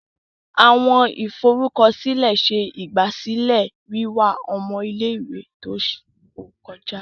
Awọn iforukọsilẹ ṣe igbasilẹ wiwa ọmọ ile-iwe ti o kọja.